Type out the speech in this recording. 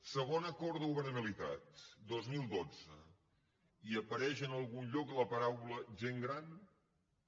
segon acord de governabilitat dos mil dotze apareix en algun lloc la paraula gent gran no